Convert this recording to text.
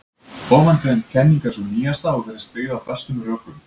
Ofangreind kenning er sú nýjasta og virðist byggð á bestum rökum.